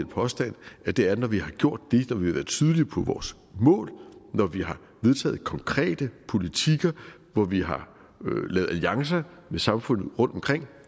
påstand at det er når vi gjort det når vi har været tydelige på vores mål når vi har vedtaget konkrete politikker hvor vi har lavet alliancer med samfundet rundtomkring